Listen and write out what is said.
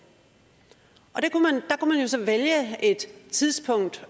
der kunne så vælge et tidspunkt